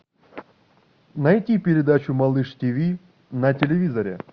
найти передачу малыш тиви на телевизоре